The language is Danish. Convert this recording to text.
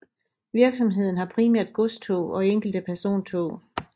Virksomheden har primært godstog og enkelte persontog